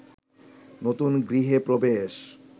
নতুন গৃহে প্রবেশ